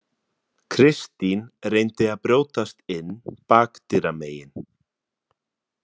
Kristín reyndi að brjótast inn bakdyramegin.